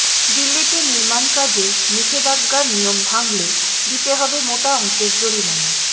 দিল্লিতে নির্মাণকাজে নিষেধাজ্ঞার নিয়ম ভাঙলে দিতে হবে মোটা অঙ্কের জরিমানা